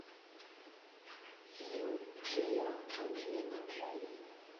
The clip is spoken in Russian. фильм джиа анджелина джоли